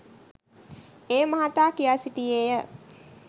ඒ මහතා කියා සිටියේය